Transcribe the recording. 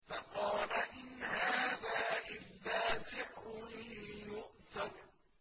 فَقَالَ إِنْ هَٰذَا إِلَّا سِحْرٌ يُؤْثَرُ